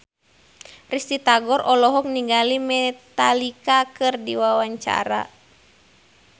Risty Tagor olohok ningali Metallica keur diwawancara